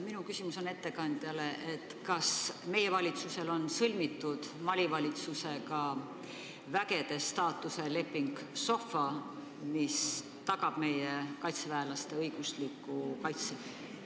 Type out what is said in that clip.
Minu küsimus ettekandjale on: kas meie valitsusel on sõlmitud Mali valitsusega vägede staatuse leping SOFA, mis tagab meie kaitseväelaste õigusliku kaitse?